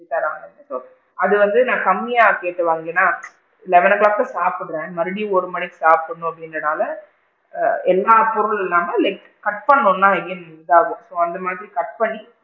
தராங்க okay அது வந்து கம்மியா கேட்டு வாங்கினா eleven o clock தான் சாப்பிடுறேன் மறுபடியும் one o clock சாப்பிடனும் அப்படிங்க்ரனால ஆ எல்லா பொருளும் இல்லாம like cut பண்ணனும்னா அந்த மாதிரி cut பண்ணி,